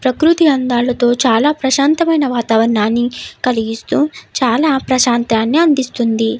ప్రకృతి అందాలతో చాలా ప్రశాంతమైన వాతావరణాన్ని కలిగిస్తూ చాలా ప్రశాంతాన్ని అందిస్తుంది.